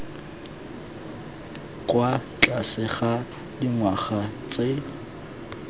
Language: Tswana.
kwa tlase ga dingwaga tse